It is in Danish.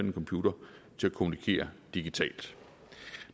en computer til at kommunikere digitalt